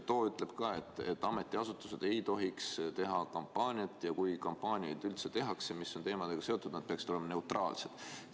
See ütleb ka, et ametiasutused ei tohiks teha kampaaniat ja kui teatud teemadeaga seotud kampaaniaid üldse tehakse, siis need peaksid olema neutraalsed.